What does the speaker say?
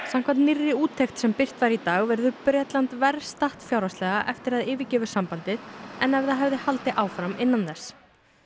samkvæmt nýrri úttekt sem birt var í dag verður Bretland verr statt fjárhagslega eftir að það yfirgefur sambandið en ef það yrði áfram innan þess